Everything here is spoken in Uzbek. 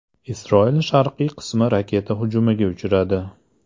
Isroil sharqiy qismi raketa hujumiga uchradi.